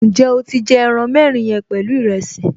Ǹjẹ́ o ti jẹ ẹran mẹ́rin yẹn pẹ̀lú ìrẹsì?